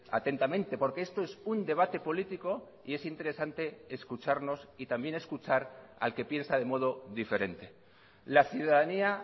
atentamente porque esto es un debate político y es interesante escucharnos y también escuchar al que piensa de modo diferente la ciudadanía